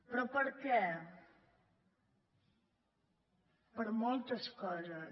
però per què per moltes coses